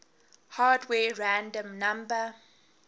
hardware random number